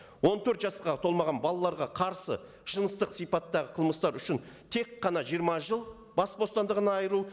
он төрт жасқа толмаған балаларға қарсы жыныстық сипаттағы қылмыстар үшін тек қана жиырма жыл бас бостандығынан айыру